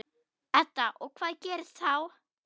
Edda: Og hvað gerist þá?